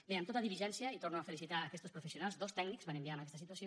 bé amb tota diligència i torno a felicitar aquestos professionals dos tècnics van enviar en aquesta situació